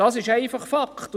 Das ist einfach ein Fakt.